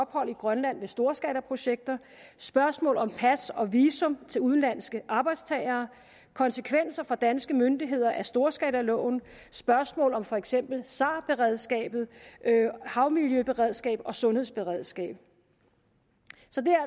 ophold i grønland ved storskalaprojekter spørgsmål om pas og visum til udenlandske arbejdstagere konsekvenser for danske myndigheder af storskalaloven spørgsmål om for eksempel sar beredskabet havmiljøberedskabet og sundhedsberedskabet